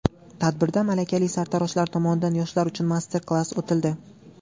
Tadbirda malakali sartaroshlar tomonidan yoshlar uchun master-klass o‘tildi.